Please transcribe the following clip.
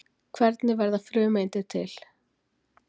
Hvernig verða frumeindir til?